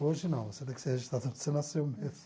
Hoje não, você tem que ser registrado onde você nasceu mesmo.